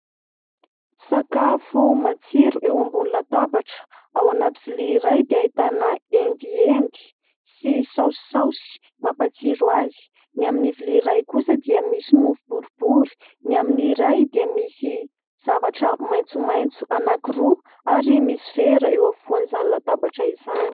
Sakafo matsiro eo ambony latabatra ao anaty vilia iray dia ahitana endiendy sy saosisaosy mampatsiro azy. Ny amin'ny vilia iray kosa dia misy mofo boribory, ny amin'iray dia misy zavatra maitsomaitso anankiroa ary misy vera eo afovoan'izany latabatra izany.